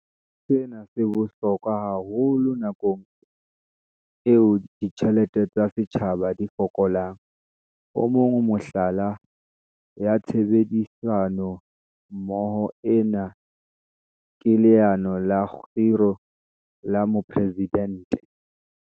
Sena se bohlokwa haholo nakong eo ditjhelete tsa setjhaba di fokolang. O mong wa mehlala ya tshebedisano mmoho ena ke Leano la Kgiro la Mopresi-dente.